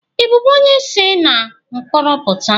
Ị bụbu onye se na mkporo puta?